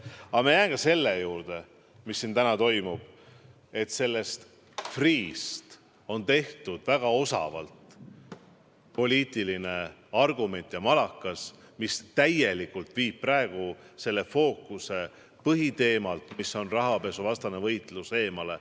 Aga ma jään ka selle juurde, et Freeh'st on väga osavalt tehtud poliitiline argument ja malakas, mis viib praegu fookuse põhiteemalt, milleks on rahapesuvastane võitlus, täiesti eemale.